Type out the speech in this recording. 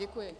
Děkuji.